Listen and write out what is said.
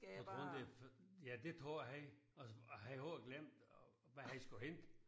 Du tror ikke det for ja det tror jeg. Altså jeg havde helt glemt hvad jeg skulle hente